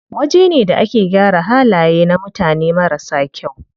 Wajena da ake gyara halaye na mutane marasa kyau.